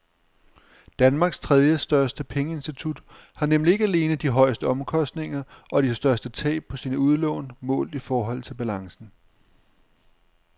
Danmarks tredjestørste pengeinstitut har nemlig ikke alene de højeste omkostninger og de største tab på sine udlån målt i forhold til balancen.